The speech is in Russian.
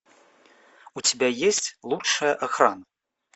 у тебя есть лучшая охрана